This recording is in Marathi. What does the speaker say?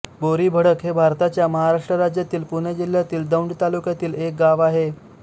बोरीभडक हे भारताच्या महाराष्ट्र राज्यातील पुणे जिल्ह्यातील दौंड तालुक्यातील एक गाव आहे